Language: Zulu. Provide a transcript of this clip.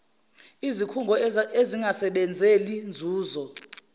izikhungo ezingasebenzeli nzuzo